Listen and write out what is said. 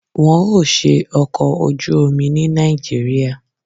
Wọn ò ṣe ọkọ̀ ojú omi ní Nàìjíríà.